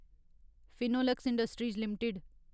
Finolex Industries limited